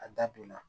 A da donna